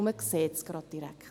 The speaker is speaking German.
Dann sieht man das direkt.